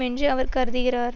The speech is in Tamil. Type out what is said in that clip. என்று அவர் கருதுகிறார்